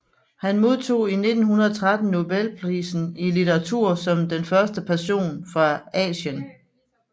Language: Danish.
Han modtog i 1913 Nobelprisen i litteratur som den første person fra Asien